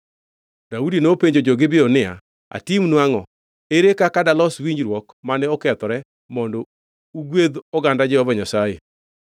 Daudi nopenjo jo-Gibeon niya, “Atimnu angʼo? Ere kaka dalos winjruok mane okethore mondo ugwedhi oganda Jehova Nyasaye?”